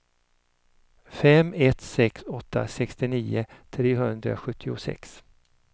fem ett sex åtta sextionio trehundrasjuttiosex